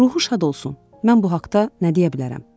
Ruhu şad olsun, mən bu haqda nə deyə bilərəm?